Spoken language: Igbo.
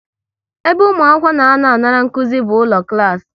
Ebe ụmụ akwụkwọ na anọ a ṅara nkụzi bụ ụlọ klas